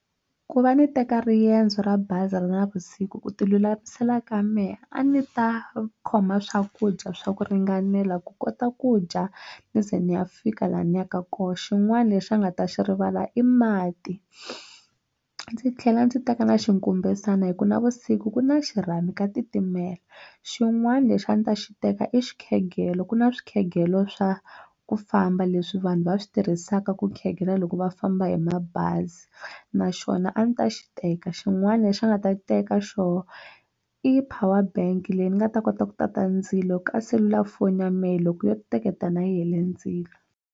Ku va ni teka riendzo ra bazi ra navusiku ku ti lulamisela ka mehe a ni ta khoma swakudya swa ku ringanela ku kota ku dya ni ze ni ya fika laha ni yaka kona xin'wana lexi a ni nga ta xi rivala i mati ndzi tlhela ndzi teka na xinkumbesana hi ku navusiku ku na xirhami ka titimela xin'wana lexi a ndzi ta xi teka i xikhegelo ku na swikhegelo swa ku famba leswi vanhu va swi tirhisaka ku khegela loko va famba hi mabazi na xona a ndzi ta xi teka xin'wana lexi a nga ta teka xiboho i power bank leyi ni nga ta kota ku tata ndzilo ka selulafoni ya mehe loko yo teketelana yi hele ndzilo.